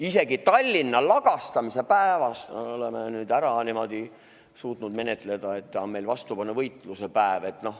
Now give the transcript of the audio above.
Isegi Tallinna lagastamise päeva oleme nüüd niimoodi suutnud ära menetleda, et ta on meil vastupanuvõitluse päev.